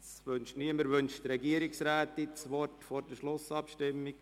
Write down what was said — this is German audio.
– Das scheint auch nicht der Fall zu sein.